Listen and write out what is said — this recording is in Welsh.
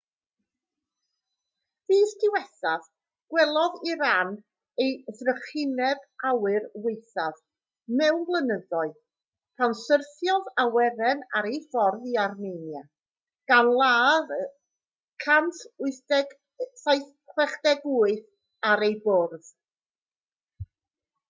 fis diwethaf gwelodd iran ei thrychineb awyr waethaf mewn blynyddoedd pan syrthiodd awyren ar ei ffordd i armenia gan ladd yr 168 ar ei bwrdd